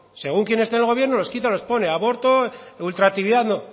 según quién esté en el gobierno los quita o los pone aborto ultraactividad